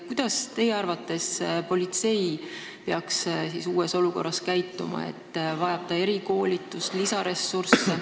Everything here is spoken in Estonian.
Kuidas peaks teie arvates politsei uues olukorras käituma: kas ta vajab erikoolitust ja lisaressurssi?